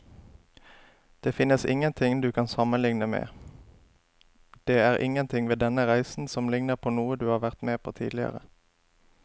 Det finnes ingenting du kan sammenligne med, det er ingenting ved denne reisen som ligner på noe du har vært med på tidligere.